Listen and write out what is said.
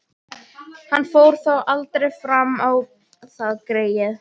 Hann fór þó aldrei fram á það, greyið.